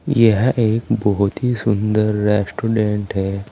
यह एक बहुत ही सुंदर रेस्टोरेंट है।